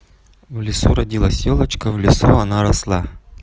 в лесу родилась ёлочка в лесу она росла